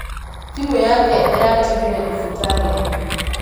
Thimũ yake ĩratigirwo thibitarĩ.